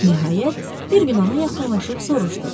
Nəhayət, bir gün ona yaxınlaşıb soruşdu.